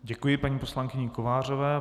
Děkuji paní poslankyni Kovářové.